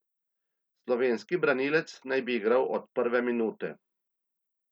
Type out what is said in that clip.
Slovenski branilec naj bi igral od prve minute.